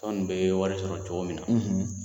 Tɔn in bɛ wari sɔrɔ cogo min na